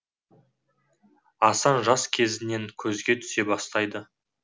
асан жас кезінен көзге түсе бастайды